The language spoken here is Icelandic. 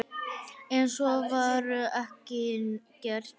En svo var ekki gert.